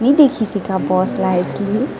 ये तो एक सीसी का बॉस लाय छिये --